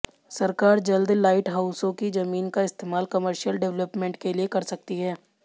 सरकार जल्द लाइटहाउसों की जमीन का इस्तेमाल कमर्शियल डिवेलपमेंट के लिए कर सकती है